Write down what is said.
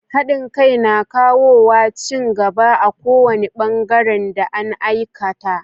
Haɗin kai na kawowa cin gaba a kowani bangaren da an aikata.